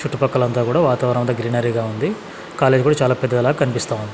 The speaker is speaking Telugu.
చుట్టు పక్కలంతా కూడా వాతావరణం అంతా గ్రీనరీగా ఉంది కాలేజీ కూడా చాలా పెద్దది లా కనిపిస్తా ఉంది.